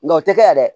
Nka o tɛ kɛ dɛ